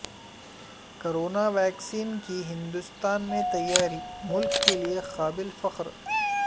corona vaccine کی ہندوستان میں تیاری ملک کیلئے قابل فخر